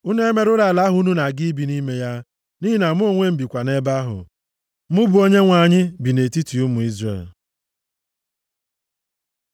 Unu emerụla ala ahụ unu na-aga ibi nʼime ya. Nʼihi na mụ onwe m bikwa nʼebe ahụ, mụ bụ Onyenwe anyị bi nʼetiti ụmụ Izrel.’ ”